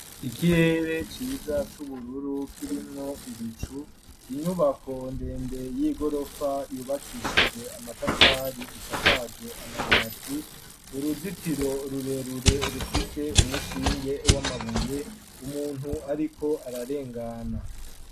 Ikirere ciza c'ubururu kirimwo ibicu inyubako ndende y'igorofa yubakishijwe amatafari isakajwe amabati uruzitiro rurerure rufise umushinge w'amabuye umuntu ariko ararengana